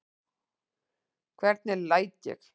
Hvernig læt ég?